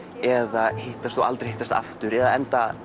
eða hittast og aldrei hittast aftur eða enda